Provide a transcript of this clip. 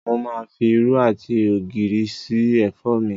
Mo máa fi irú àti ògìrì sí ẹ̀fọ́ mi.